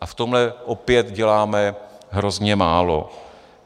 A v tomhle opět děláme hrozně málo.